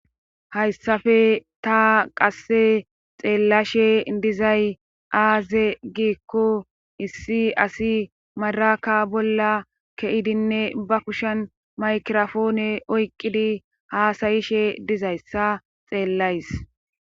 Hayssafe ta qasse xeellashe dizay aaze giikko issi asi madraka bolla keidinne ba kushen maykirafoone oyqqidi haasayishe dizayssa xeellays.